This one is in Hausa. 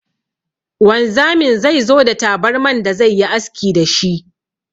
Wanzamin zai zo da tabarman da zai yi aski da shi.